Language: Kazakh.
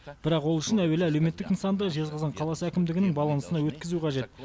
бірақ ол үшін әуелі әлеуметтік нысанды жезқазған қаласы әкімдігінің балансына өткізу қажет